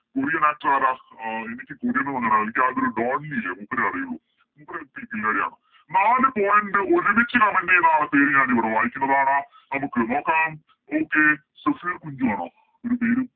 Korean actor ആര അഹ് എനിക്ക് Korean ഒന്നും അങ്ങനെ എനിക്ക് ആകെ ഒരു ഡോങ്ക്‌ലി ഇല്ലേ മൂപ്പരെ അറിയുള്ളു മൂപ്പര് ഒര് ക് കില്ലാഡിയാണ് നാല് Point ഒരുമിച്ച് Comment ചെയ്ത ആൾടെ പേര് ഞാനിവിടെ വായ്ക്കുന്നതാണ് നമുക്ക് നോക്കാം Okay സഫീർ കുഞ്ചു ആണോ ഒരു പേരും